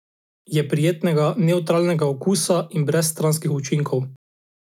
Je prijetnega, nevtralnega okusa in brez stranskih učinkov.